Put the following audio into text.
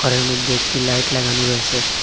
এর মইদ্যে একটি লাইট লাগানো রয়েসে ।